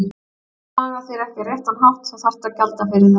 Þegar þú hagar þér ekki á réttan hátt þá þarftu að gjalda fyrir það.